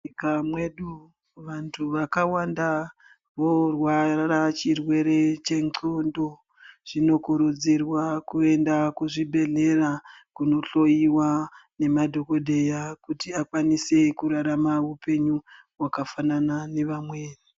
Munyika mwedu, vanthu vakawanda vorwara chirwere chengqondo, zvinokurudzirwa kuenda kuzvibhedhlera kunohloiwa nema dhokodheya, kuti akwanise kurarama upenyu hwakafanana nevamweni.